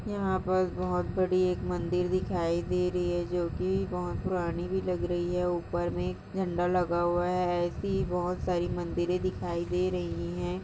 यहाँ पर बहुत बड़ी एक मंदिर दिखाई दे रही है जो कि बहुत पुरानी भी लग रही है ऊपर में झंडा लगा हुआ है ऐसी ही बहुत सारी मंदिरे दिखाई दे रही हैं।